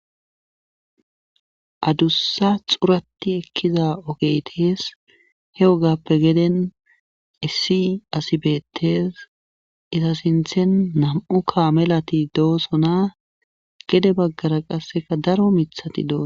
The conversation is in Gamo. Adussa xurati ekkiza ogeytes he ogappe geden issi asibetes ita sinthen nam7u kaamelati doosona gede baggara qasseka daro mithati doosona.